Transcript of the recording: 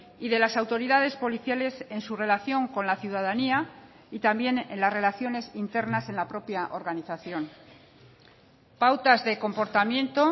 y de las autoridades policiales en su relación con la ciudadanía y también en las relaciones internas en la propia organización pautas de comportamiento